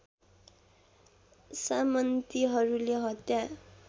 सामन्तीहरूले हत्या